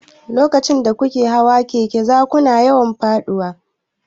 Lokacin da kuke koyon hawan keke, za kuna yawan faɗuwa.